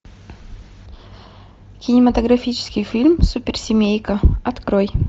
кинематографический фильм суперсемейка открой